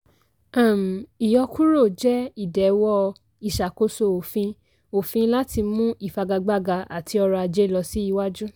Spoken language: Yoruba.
um ìyọkúrò jẹ́ ìdẹ̀wọ́ ìṣàkóso òfin òfin láti mú ìfagagbága àti ọrọ̀ ajé lọ siwájú.